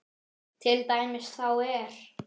Til dæmis þá er